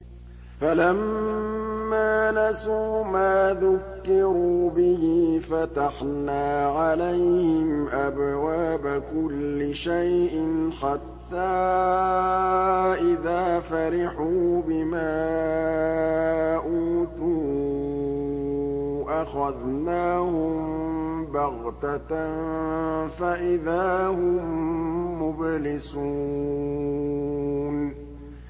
فَلَمَّا نَسُوا مَا ذُكِّرُوا بِهِ فَتَحْنَا عَلَيْهِمْ أَبْوَابَ كُلِّ شَيْءٍ حَتَّىٰ إِذَا فَرِحُوا بِمَا أُوتُوا أَخَذْنَاهُم بَغْتَةً فَإِذَا هُم مُّبْلِسُونَ